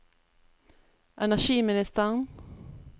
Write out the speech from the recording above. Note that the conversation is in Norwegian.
energiministeren